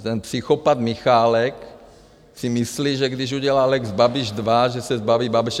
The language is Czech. Ten psychopat Michálek si myslí, že když udělá lex Babiš dva, že se zbaví Babiše.